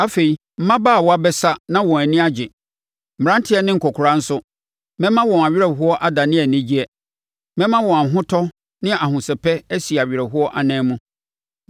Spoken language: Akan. Afei, mmabaawa bɛsa na wɔn ani agye, mmeranteɛ ne nkɔkoraa nso. Mɛma wɔn awerɛhoɔ adane anigyeɛ; mɛma wɔn ahotɔ ne ahosɛpɛ asi awerɛhoɔ anan mu.